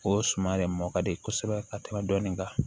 O suman de mɔ ka di kosɛbɛ ka tɛmɛ dɔni kan